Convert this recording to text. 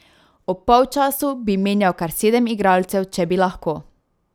Ob polčasu bi menjal kar sedem igralcev, če bi lahko.